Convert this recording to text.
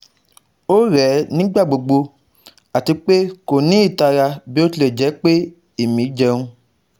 O rẹ nigbagbogbo ati pe ko ni itara bi o tilẹ jẹ pe emi jẹun